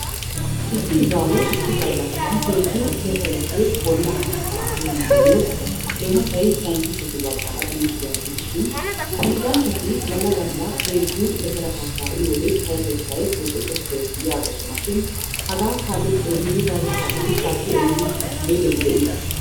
Issi izawu issi gallassan heezzu letereppe bolla haatta uyyanayo eenottay sayntisttetu baggaara immettidaaga gidishin ha pilgganchchati galla galla heezzu letere haattaa uyiyyoode payyatettay boxxoxettees yaaggosonashin hage kaalli xeellidi payyatettassi shaakki eridi be'iddobi dii?